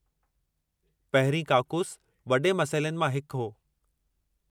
पहिरीं काकूस वॾे मसइलनि मां हिकु हो।